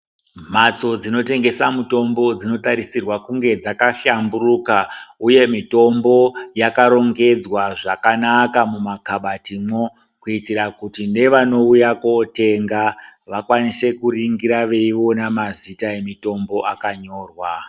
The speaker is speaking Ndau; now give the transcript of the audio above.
Mbatso dzinotengeswa mitombo dzinotarisirwa kuti dzakahlamburuka uye mitombo yakarongedzwa zvakanaka munakabatimwo kuitira kuti nevanouya kotenga vakwanise kuningira Mutombo wakanyorwa.